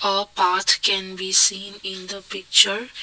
a path can be seen in the picture.